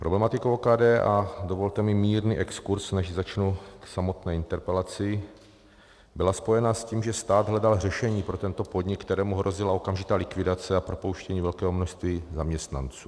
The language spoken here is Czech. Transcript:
Problematika OKD, a dovolte mi mírný exkurz, než začnu k samotné interpelaci, byla spojena s tím, že stát hledal řešení pro tento podnik, kterému hrozila okamžitá likvidace a propouštění velkého množství zaměstnanců.